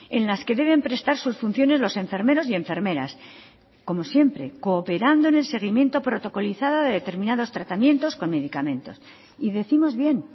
en las que deben prestar sus funciones los enfermeros y enfermeras como siempre cooperando en el seguimiento protocolizado de determinados tratamientos con medicamentos y décimos bien